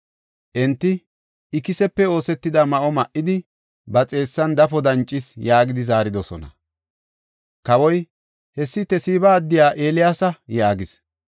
Enti, “Ikisepe oosetida ma7o ma7idi, ba xeessan dafo dancees” yaagidi zaaridosona. Kawoy, “Hessi Tesiba addiya Eeliyaasa” yaagis.